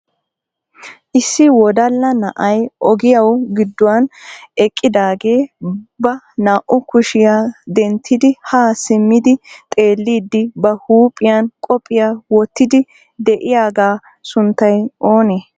Issi wodalla na'ay ogiyaw gidduwan eqqidaagee ba naa"u kushiya denttidi ha simmidi xeellidi ba huuphiyan qophphiya wottidi de'iyaaga sunttay oonee?